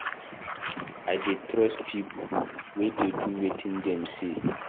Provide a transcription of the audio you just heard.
I dey trust pipo wey dey do wetin dem say.